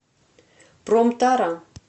промтара